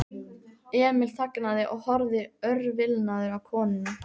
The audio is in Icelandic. Emil þagnaði og horfði örvilnaður á konuna.